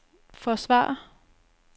forsvare